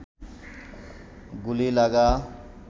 গুলি লাগা